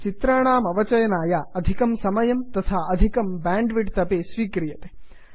चित्राणामवचयनाय अधिकं समयं तथा अधिकं बेंड्विड्थ् अपि स्वीकरोति